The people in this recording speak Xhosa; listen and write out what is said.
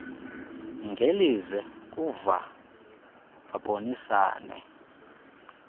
ngelize kuva babonisane